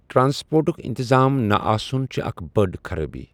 ٹرانسپورٹُک اِنتظام نَہ آسُن چھےٚ اکھ بٔڈ خرٲبی۔